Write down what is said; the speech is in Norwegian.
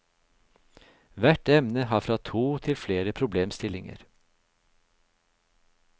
Hvert emne har fra to til flere problemstillinger.